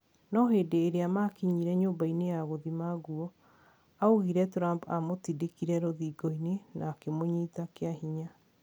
No hindi iria makinyire nyũmba-ini ya gũthima guo, augire Trumph amũtindikire rũthingo-ini na kũmũnyita kiahinya.